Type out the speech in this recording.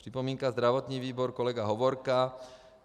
Připomínka zdravotní výbor - kolega Hovorka.